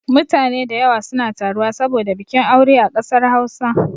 Mutane da yawa suna taruwa saboda bikin aure a kasar Hausa